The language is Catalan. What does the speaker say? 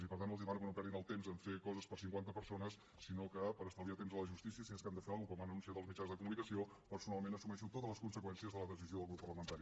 i per tant els demano que no perdin el temps en fer coses per a cinquanta persones sinó que per estalviar temps a la justícia si és que han de fer alguna cosa com han anunciat als mitjans de comunicació personalment assumeixo totes les conseqüències de la decisió del grup parlamentari